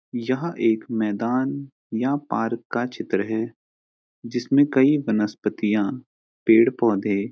यह एक मैदान या पार्क का चित्र है जिसमें कई वनस्पितियाँ पेड़ पौधे --